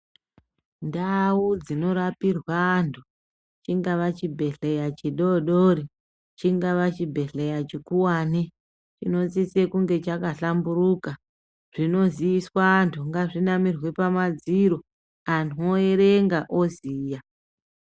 Ndau dzinorapirwa antu, chingava chibhedhleya chidodori ,chingava chibhedhleya chikuwani ,chinosise kunge chakahlamburuka. Zvinoziiswa antu ngazvinamirwe pamadziro ,antu oerenga oziya.